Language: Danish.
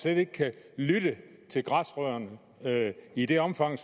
ikke kan lytte til græsrødderne i det omfang